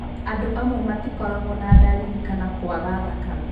Andũ amwe matikoragũo na ndariri kana kũaga thakame.